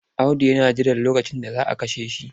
Audu yana jiran lokacin da za a kashe shi.